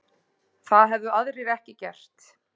Það hefðu aðrir ekki gert